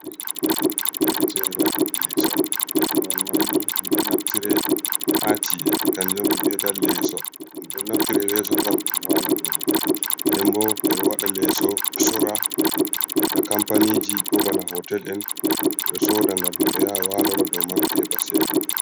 Becera leeso korwal manni minɗo naftire ha ci’e kanjumbe vi'etal leeso ɗum ɗo naftire leso ngam ɗum wala dowman denbo ɓeɗo wada leso sorra na kampaniji ko bana hotel en soda ngam himɓe yaha walora dow man ɓe heɓa cede.